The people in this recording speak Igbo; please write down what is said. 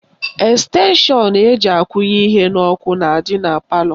Estenshọn eji akwụnye ihe n'ọkụ na-adị na palọ